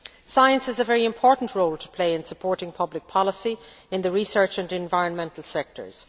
Science has a very important role to play in supporting public policy in the research and environmental sectors.